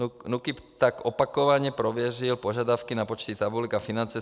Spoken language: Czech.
NÚKIB tak opakovaně prověřil požadavky na počty tabulek a finance.